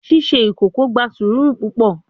Ṣiṣe ikoko gba sũru pupọ